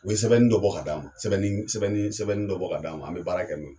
U ye sɛbɛnni dɔ bɔ ka d'an ma .sɛbɛnni sɛbɛnni dɔ bɔ ka d'an ma, an be baara kɛ n'o ye.